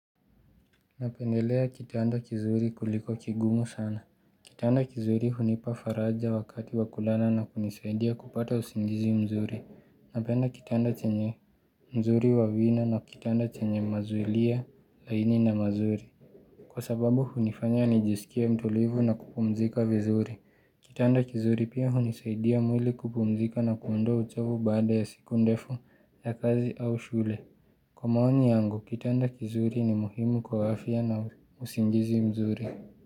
Napendelea kitanda kizuri kuliko kigumu sana. Kitanda kizuri hunipa faraja wakati wa kulala na kunisaidia kupata usingizi mzuri Napenda kitanda chenye mzuri wa vina na kitanda chenye mazuilia laini na mazuri Kwa sababu hunifanya nijisikie mtulivu na kupumzika vizuri. Kitanda kizuri pia hunisaidia mwili kupumzika na kuondoa uchovu baada ya siku ndefu ya kazi au shule. Kwa maoni yangu, kitanda kizuri ni muhimu kwa afya na usingizi mzuri.